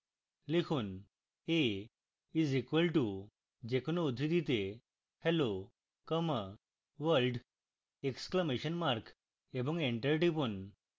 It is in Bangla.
লিখুন a is equal to যে কোনো উদ্ধৃতিতে hello comma world exclamation mark এবং এন্টার টিপুন